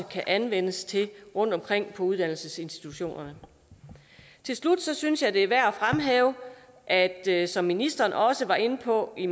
kan anvendes til rundtomkring på uddannelsesinstitutionerne til slut synes jeg at det er værd at det som ministeren også var inde på i